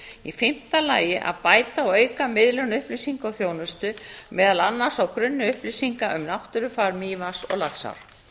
í fimmta lagi að bæta og auka miðlun upplýsinga og þjónustu meðal annars á grunni upplýsinga um náttúrufar mývatns og laxár